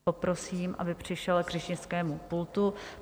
Poprosím, aby přišel k řečnickému pultu.